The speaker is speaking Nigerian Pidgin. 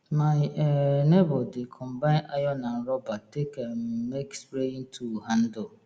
my um neibor dey combine iron and rubber take um make spraying tool handle